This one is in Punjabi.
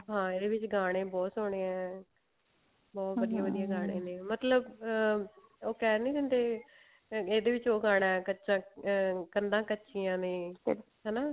ਹਾਂ ਇਹਦੇ ਵਿੱਚ ਗਾਣੇ ਬਹੁਤ ਸੋਹਣੇ ਆ ਗਾਣੇ ਨੇ ਮਤਲਬ ਅਹ ਉਹ ਕਿਹ ਨੀ ਦਿੰਦੇ ਇਹਦੇ ਵਿੱਚ ਉਹ ਗਾਣਾ ਕੱਚਾ ਅਮ ਕੰਧਾ ਕੱਚੀਆਂ ਨੇ